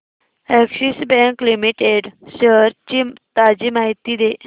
Axis bank limited shares ची ताजी माहिती दे